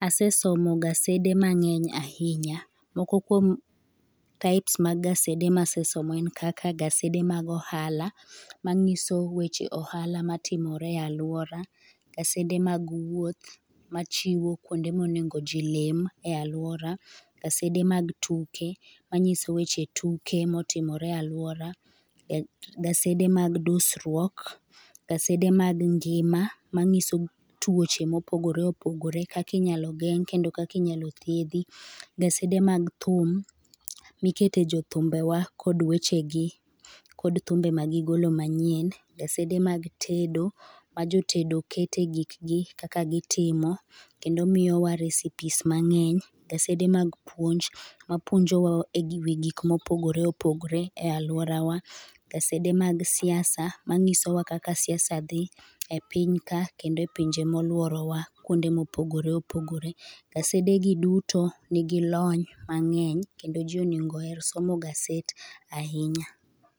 Asesomo gazede mang'eny ahinya. Moko kuom types mag gazede ma asesomo en kaka gasede mag ohala ma ng'iso weche ohala ma timore e aluora, gasede mag wuoth ma chiwo kuonde ma onego ji olim e aluora, gasede mag tuke ma ng'iso weche tuke ma timore e aluora, gasede mag dusruok, gasede mag ngima ma ng'iso twoche ma opogore opogore kaka inyalo geng' kendo kaka inyalo thiedhi, gazede mag thum mi ikete jo thumbe wa kod weche gi kod thumbe ma gigolo ma nyien, gasede mag tedo ma jo tedo keto e gik gi kaka gi timo kendo miyo wa recipes ma ng'eny, gasede mag puonj ma puonjo e gigo gik ma opogore opogore aluora wa, gasede mag siasa ma ng'iso wa kaka siasa dhi e piny ka kendo e pinje mo olouro wa kuonde ma opogore opogore. Gasede gi duto ni gi lony kendo ji onego oher somo gaset ahinya.